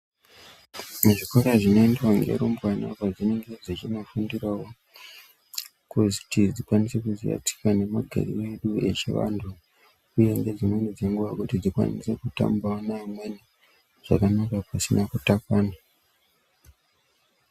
Muzvikora zvinoendwa ngerumbwana apo dzinenge dzechinofundirawo kuti dzikone kuziya tsika nemagariro edu echivanthu uye ngedzimweni dzenguwa kuti dzikwanise kutambawo neamweni zvakanaka pasina kutakana.